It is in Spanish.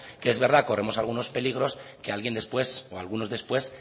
que es verdad corremos algunos peligros que alguien después o algunos después